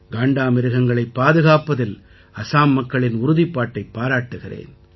காண்டாமிருகங்களைப் பாதுகாப்பதில் அசாம் மக்களின் உறுதிப்பாட்டைப் பாராட்டுகிறேன்